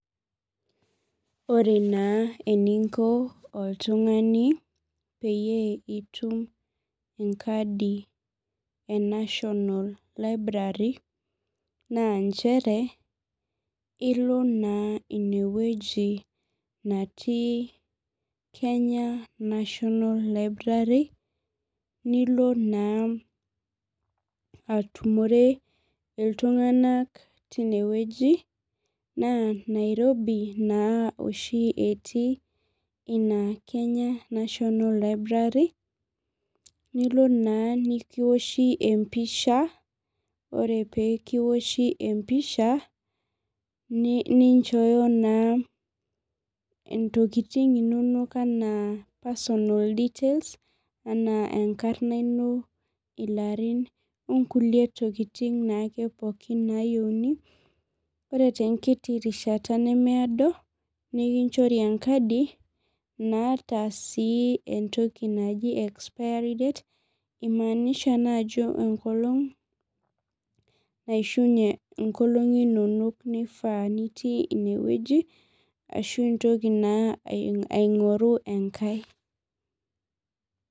Ore na eninko oltungani peyie itum enkadi e national library na nchere ilo na inewueji natii kenya national library nilo na atumure ltunganak tinewueji na nairobi na oshi etii ina kenya national library nilo na kiwoshibempisha ore pekiwoshi empisha ninchooyo naa ntokitin inonok anaa personal details anaa enkarna ino ilarin, onkulie tokitin nayieunibore tenkiti rishata nemeedo nikichori enkadi naata sii entoki naji expiry date naimaanisha naa ajo enkolong naishunye nkolongi inonol naifaa nitii inewueji ashu intoki na aingoru enkae.